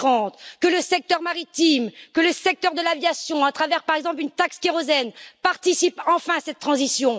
2030. C'est aussi que le secteur maritime et que le secteur de l'aviation, à travers, par exemple, une taxe kérosène, participent enfin à cette transition.